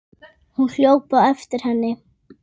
Hún hljóp á eftir henni.